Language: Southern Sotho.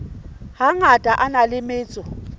hangata a na le metso